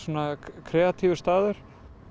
kreatífur staður